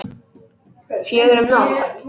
Fjögur um nótt?